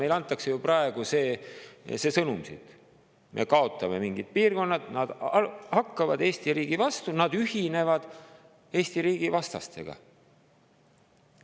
Meile antakse ju praegu see sõnum, et me kaotame mingid piirkonnad, kui nad hakkavad Eesti riigi vastu, nad ühinevad Eesti riigi vastastega.